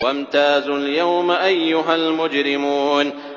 وَامْتَازُوا الْيَوْمَ أَيُّهَا الْمُجْرِمُونَ